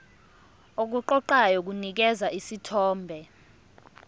okuqoqayo kunikeza isithombe